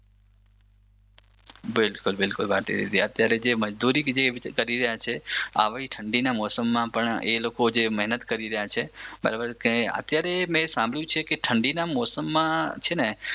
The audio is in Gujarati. બિલકુલ બિલકુલ ભારતીદીદી અત્યારે જે મજદૂરી જે કરી રહ્યા છે આવી ઠંડીના મોસમમાં પણ એ લોકો જે મહેનત કરી રહ્યા છે બરાબર અત્યારે મે સાંભર્યું છે કે ઠંડીના મોસમમાં છે ને